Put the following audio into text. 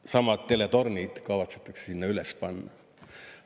Samad teletornid kavatsetakse sinna üles panna.